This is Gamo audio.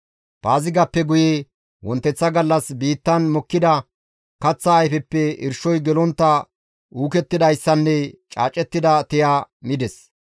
Paazigappe guye wonteththa gallas biittan mokkida kaththa ayfeppe irshoy gelontta uukettidayssanne caacettida tiya mides.